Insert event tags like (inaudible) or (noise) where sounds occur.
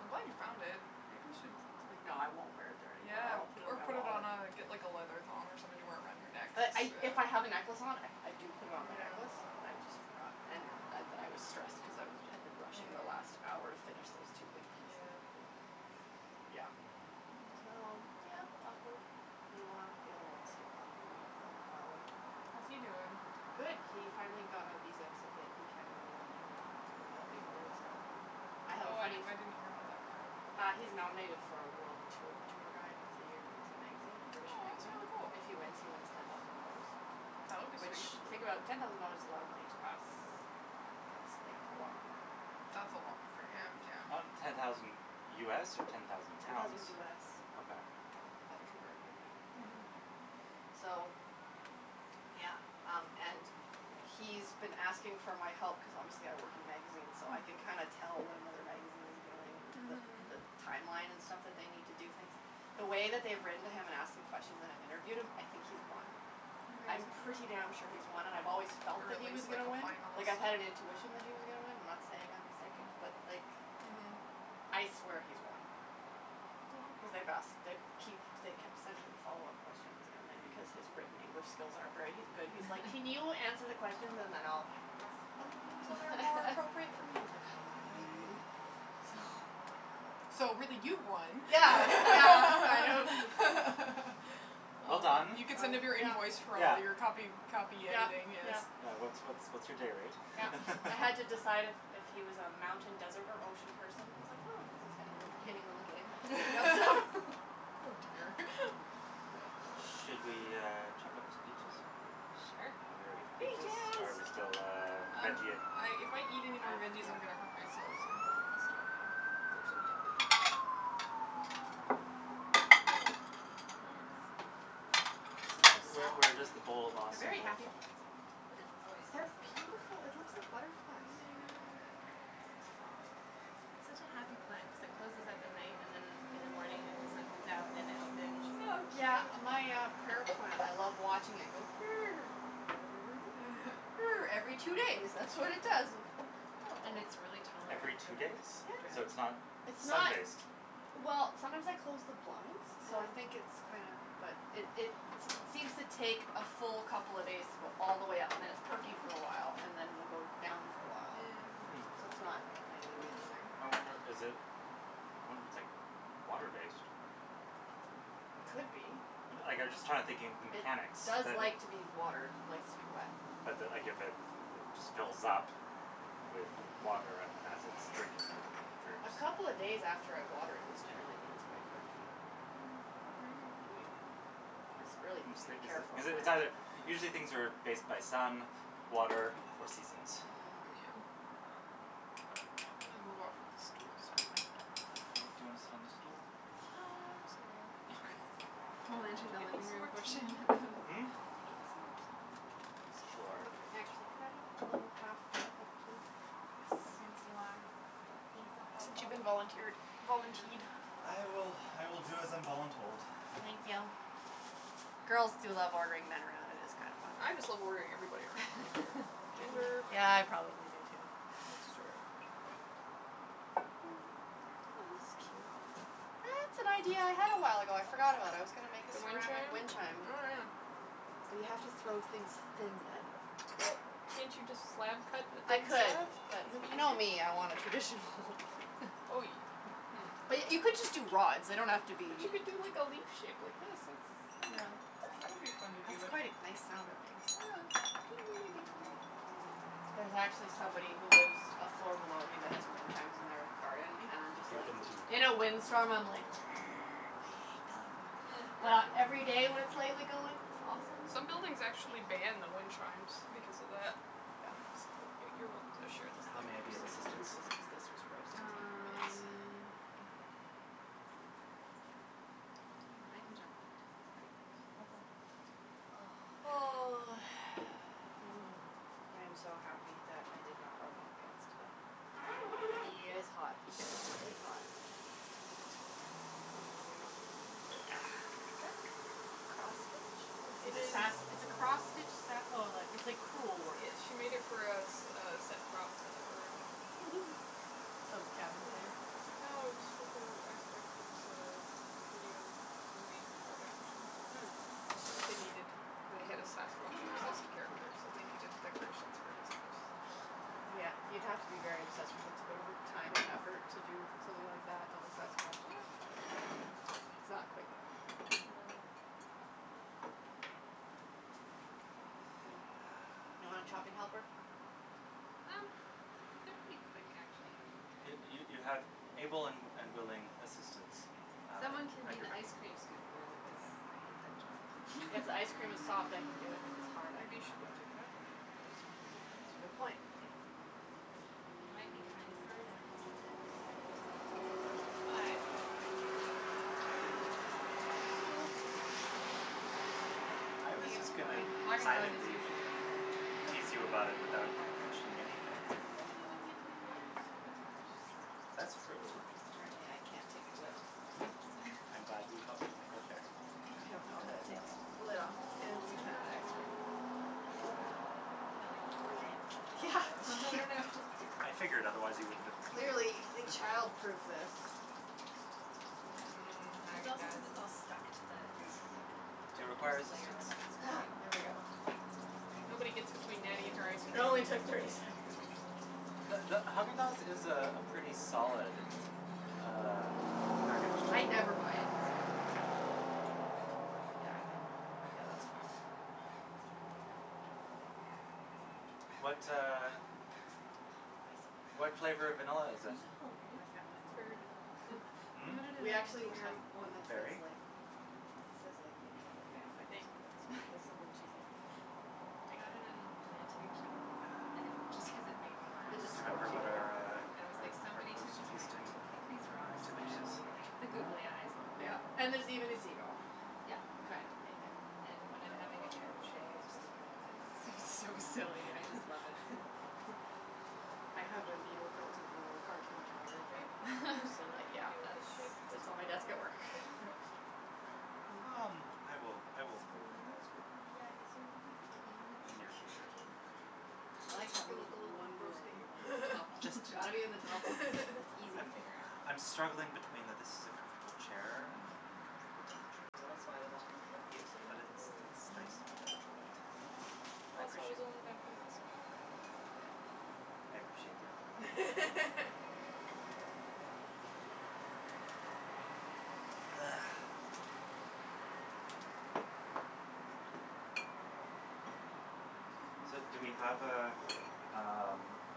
I'm glad you found it. Maybe you should, like No, I won't wear it there anymore or Yeah, I'll put it in or my put it on wallet. a, get like a leather thong or something to wear it around your neck. But I if I have a necklace on, I do put it on my necklace, but I Yeah. just Mhm. forgot. And and then I was stressed because I had been rushing the last hour to Mm. finish those two big pieces. Yeah. (inaudible) Yeah. Hmm. So, Mm. yeah, awkward. Meanwhile, the other one's still talking to me from far away. How's he doing? Good. He finally got a visa so that he can go to London, England to go to that big awards ceremony. I have a Oh, I funny f- didn't hear about that part. Uh he's nominated for a world t- tour guide of the year. It's a magazine, a British magazine. Oh, If that's he really wins, cool. he wins ten thousand dollars. That would be Which, sweet. you think about it, ten thousand dollars is a lot of money to us. Yeah. That's like a lot more That's a lot more for for him, him. Uh yeah. ten thousand US or ten thousand Ten thousand pounds? US. Okay. Yeah, I've converted it, yeah. Mhm. So, yeah, um, and he's been asking for my help cuz obviously I work in magazines, so I can kinda Mm. tell what another magazine is doing and the the Mhm. timeline and stuff that they need to do things. The way that they've written to him and asked him questions and I've interviewed him, I think he's won. You I'm pretty think so? damn sure he's won, and I've always Or felt that at he was least like gonna a win. Like, I had an finalist. intuition that he was gonna win. I'm not saying I'm psychic, but like Mhm. I swear he's won cuz they've asked Well they keep they kept sending him follow up questions and then because his Mm. written English skills aren't very good, he's like, can you answer the questions (laughs) and then I'll fix them so they're more appropriate for me? I was like, (laughs) fine. So So, really, you won. Yeah, yeah, I know. (laughs) (laughs) (laughs) Well done. You could send him your invoice for all your copy Yeah. copy Yeah, editing, yes. yeah. Yeah, what's what's what's your day rate Yeah. I had to (laughs) decide if if he was a mountain, desert or ocean person. I was like, oh, this is kind of an entertaining little game. (laughs) (laughs) Oh, dear. (laughs) Should we, uh, chop up some peaches? Sure. Are we ready for peaches? Or are we still, Peaches. uh, I'm I'm veggie ing? if I eat anymore I, veggies, I'm going to hurt yeah. myself, so I'm going to stop now. They're so yummy. Where where does the bowl of They're awesome very live? happy plants in here. Oh, it They're lives in the cupboard. beautiful. It looks Okay. like butterflies. I know. So soft. It's such a happy plant cuz it closes up at night and then in the morning, like, the sun comes out and then it opens Oh, and cute. Yeah. My, uh, prayer plant, I love watching it go (noise) Every two (laughs) days, that's what it does. It's And adorable. it's really Every tolerant to, two like, days? So drought, it's Yeah. not It's sun not like based? Well, sometimes I close the blinds, so I think it's Mm. kinda, but it it seems to take a full couple of days to go all the way up and then it's perky for a while and then it'll go down for a while, Hmm. so Mm. it's not nightly, daily. Interesting. I wonder, is it I wonder if it's, like, water based. Could be. Like I'm just trying to think the It mechanics does that it like to be watered, likes to be wet. But that, like, if it just fills up with water and then as its drinking it, it droops. A couple of days after I water it is generally when it's quite perky. Mm, maybe. Maybe, Yeah. but it's a really easy to care for Is it it's either plant. usually things are based by sun, water or seasons. Yeah. Mm. Um, but I'm I'm gonna move off of this stool's hurting my butt. Okay, do you wanna sit on the stool? No, I'll go sit over there. Okay. Would We'll you mind enter the getting me living some room more tea? portion of Mm? Can you get me some more tea, please? Sure. Actually, could I have a little half top up, too? Since you are being so Since you've helpful. been volunteered, volunteed. Yeah. I will, I will do as I'm voluntold. Thank you. Girls do love ordering men around, it is kind of fun. I just love ordering everybody around, I don't care. (laughs) I can make Gender. more, Yeah, too. I probably do, too. That's true. (noise) Oh, this is cute. That's an idea I had a while ago. I forgot about. I was gonna make a The wind ceramic chime? wind chime. Oh, yeah. But you have to throw things thin then. Well, can't you just slab cut a I thin could, slab? but Wouldn't you know that be me, I want a easier? traditional Oh, you (laughs) But Hmm. y- you could just do rods. They don't have to But be you could do like a leaf shape like this. That's, I don't Yeah. know, that would be fun to do. That's quite a nice sound it makes. Yeah. (noise) There's actually somebody who lives a floor below me that has wind chimes in their garden Thank and I'm just You've like been teed. In you. a wind storm, I'm like (noise) I hate them. Mm. But every day when it's lightly going, it's (laughs) awesome. Some buildings Thank actually you. ban the wind chimes because of that. Yeah. So, you you're welcome to share this How thing. may I be of Just gonna move assistance? this cuz this was roasting me. Yes. Um, I I can chop the peaches. It's pretty quick, so Okay. Oh, Oh. thanks. Mm. I am so happy that I did not wear long pants (inaudible) today. Yeah, It's hot. it's hot. It's hot. Is (noise) that cross stitch? It It's a This is. sas- it's a cross stitch sa- oh, like it's like cruel work. Yeah, she made it for a s- a set prop for (laughs) Some cabin thing? Yeah. No, it was for her ex boyfriends, uh, video movie project or Mm. something. They needed the head of sasquatch obsessed character, so they needed decorations for his house. Yeah, you'd have to be very obsessed with it to go to the time and effort to do something like that of a sasquatch. Yeah. (laughs) It's not quick. No. Hmm. You want a chopping helper? Um, they're pretty quick, actually. Okay. You you you Okay. have able and and willing assistants, (laughs) uh, Someone can at be your the ice beckon. cream scooper, though, cuz Okay. I hate that job. If (laughs) ice cream is soft, I can do it. If it's hard, I Maybe you should cannot do go it. take it out. And they'll It be soft by the Yeah, time it's a good point. (inaudible) it might be kind of hard, I don't know. (inaudible) Hot. (inaudible) I do. I I was think it's just going to fine. Haagen Dazs is silently usually okay. It tease doesn't you kinda about it go Yeah. without hard hard. mentioning anything. But the you wouldn't get to (inaudible) laugh as much, That's so. Ooh, true. apparently I can't take the lid off, though. I'm (noise) glad you felt comfortable sharing it. I don't know It how to was take more fun. the lid off of fancy I'm not pants ice actually cream. done. I was playing. You kinda like (laughs) pry it from Yeah. (noise) the bottom. (laughs) I figured, otherwise you wouldn't have continued. Clearly they (laughs) childproofed this. Mm, It's Haagen also cuz Dazs. it's all stuck to the, like, the Do you require first (noise) layer assistance? of ice Ah, cream. there we go. Nobody gets between Nattie and her ice It cream. only took thirty seconds. The the Haagen Dazs is a pretty solid, uh packaged I never buy it, so Yeah. Yeah, I think Yeah, that's fine. That's totally fine. Mm. What, uh, Oh, I so have one what flavor of vanilla of is it? Isn't that these. My hilarious? family It's has one, berry vanilla. yeah. They Hmm? had it at We an actually antique have shop. one that Berry. says, Berry? like, Okay. it says, like, the entire I family or think, something that's on what I it, can like see something from here. cheesy. (laughs) I got it in an antique shop and it just cuz it made me laugh. It Do just you spoke remember to you, what yeah, our, yeah. And it was uh, our like our somebody post took the time feasting to pick these rocks activity is? specially and put the googly eyes on Yeah, them and and there's even a seagull. Yeah. Kind of amazing. And when I'm No, I having a don't know terrible if she day, has I a just look specific at it plan. and it's so Okay. silly, I just love it. We'll (laughs) I figure it out. have a needle felted little cartoon tiger Are thing. you hot from the sun I'm on like, you? Do yeah, you want that's (laughs) the shade this, sits on my desk at uh, work. curtain closed? Um, I will, I will move in the Spoons would be, I assume, here? In the near drawer. future. Okay. I You look like that, you when there's look a little one drawer that roasting. you're, like, the top one. Just It's a got to be in the top one. (laughs) tad. It's easy to I'm figure out. (laughs) I'm struggling between the this is a comfortable chair and an uncomfortable I like the temperature. Well, interior of that's the why I was kitchen offering to help layout. you, so you But wouldn't have to it's move. it's nice to have natural light. (noise) I Well, that's why I was appreciate only gonna close this one. Mkay. I appreciate the offer. Thank you. (laughs) You're welcome. Ah. So, do we have a, um, (noise)